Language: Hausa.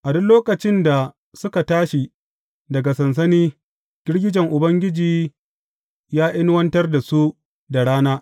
A duk lokacin da suka tashi daga sansani, girgijen Ubangiji ya inuwantar da su da rana.